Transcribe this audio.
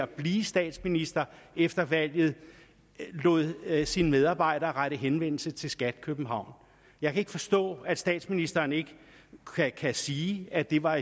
blive statsminister efter valget lod lod sin medarbejder rette henvendelse til skat københavn jeg kan ikke forstå at statsministeren ikke kan sige at det var